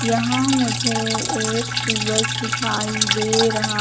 यहां मुझे एक सूरज दिखाई दे रहा--